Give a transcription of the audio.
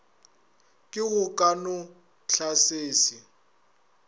ke go ka no tlasese